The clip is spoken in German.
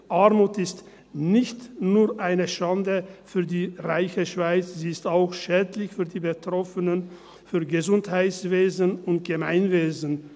Armut ist nicht nur eine Schande für die reiche Schweiz, sie ist auch schädlich für die Betroffenen, für das Gesundheitswesen und das Gemeinwesen.